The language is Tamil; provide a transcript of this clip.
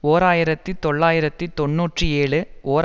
ஓர் ஆயிரத்தி தொள்ளாயிரத்து தொன்னூற்றி ஏழு ஓர்